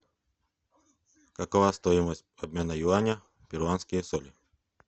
какова стоимость обмена юаня в перуанские соли